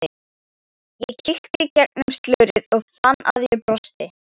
Ég kíkti gegnum slörið og fann að ég brosti.